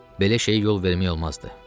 Belə şeyə yol vermək olmazdı.